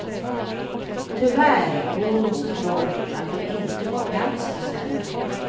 Tyvärr bor hon så trångt att de inte får plats hos henne.